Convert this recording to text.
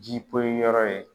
Ji poyi yɔrɔ ye.